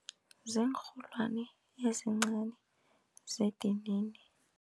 Ziinrholwani ezincani zedinini.